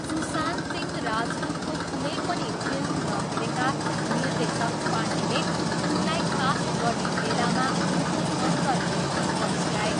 सुशान्त सिंह राजपुतको कुनै पनि फिल्म नहेरेका निर्देशक पाण्डेले उनलाई कास्ट गर्ने बेलामा उनको अन्तर्दृष्टि पछ्याए।